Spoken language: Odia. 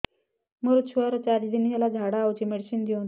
ମୋର ଛୁଆର ଚାରି ଦିନ ହେଲା ଝାଡା ହଉଚି ମେଡିସିନ ଦିଅନ୍ତୁ